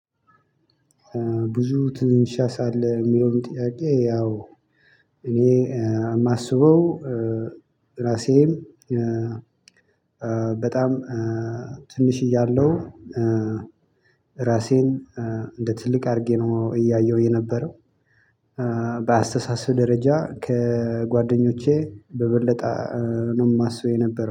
ብዙ ትንሽ አሳ አለህ የለውን ጥያቄ? ያው እኔ የማስበው ራሴም በጣም ትንሽ እያለሁ ራሴን እንደ ትልቅ አድርጌ ነው እያየሁ የነበረው። በአስተሳሰብ ደረጃ ከጓደኞቼ በበለጠ ነው የማስበው የነበረው